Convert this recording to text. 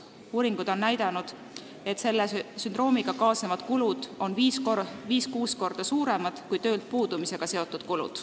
Uuringud on näidanud, et selle sündroomiga kaasnevad kulud on viis-kuus korda suuremad kui töölt puudumisega seotud kulud.